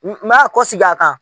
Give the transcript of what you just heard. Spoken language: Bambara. N n b'a kosegin a kan.